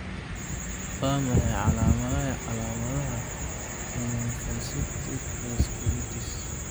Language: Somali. Waa maxay calaamadaha iyo calaamadaha Lymphocytic vasculitis?